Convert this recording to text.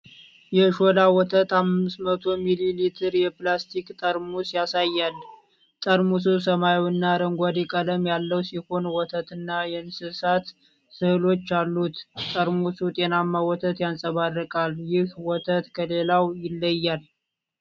የሾላ ወተት 500 ሚሊ ሊትር የፕላስቲክ ጠርሙስ ያሳያል። ጠርሙሱ ሰማያዊና አረንጓዴ ቀለም ያለው ሲሆን፣ ወተትና የእንስሳት ሥዕሎች አሉት። ጠርሙሱ ጤናማ ወተት ያንጸባርቃል። ይህ ወተት ከሌላው ይለያል?